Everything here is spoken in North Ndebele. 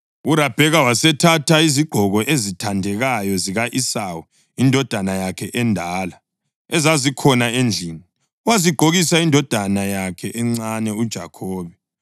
URabheka wasethatha izigqoko ezithandekayo zika-Esawu indodana yakhe endala, ezazikhona endlini, wazigqokisa indodana yakhe encane, uJakhobe.